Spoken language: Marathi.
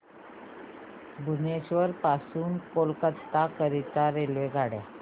भुवनेश्वर पासून कोलकाता करीता रेल्वेगाड्या